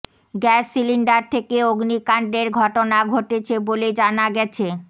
gas cylinder থেকে অগ্নিকাণ্ডের ঘটনা ঘটেছে বলে জানা গেছে